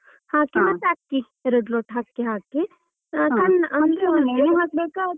ಹಾಕಿ ಮತ್ತೆ ಅಕ್ಕಿ ಎರಡು ಲೋಟ ಅಕ್ಕಿ ಹಾಕಿ ಸಣ್ಣ.